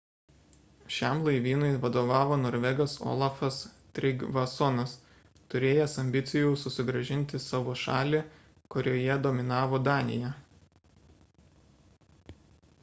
šiam laivynui vadovavo norvegas olafas trygvassonas turėjęs ambicijų susigrąžinti savo šalį kurioje dominavo danija